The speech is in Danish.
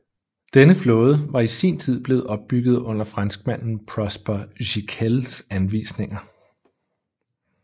Denne flåde var i sin tid blevet opbygget under franskmanden Prosper Giquels anvisninger